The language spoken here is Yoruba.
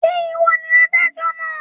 Ǹjẹ́ ìwọ ni adájọ́ náà?